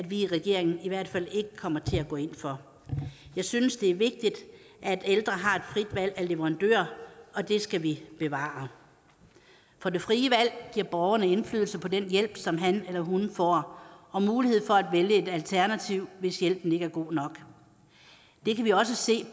vi i regeringen i hvert fald ikke kommer til at gå ind for jeg synes det er vigtigt at ældre har et frit valg af leverandør og det skal vi bevare for det frie valg giver borgerne indflydelse på den hjælp som han eller hun får og mulighed for at vælge et alternativ hvis hjælpen ikke er god nok det kan vi også se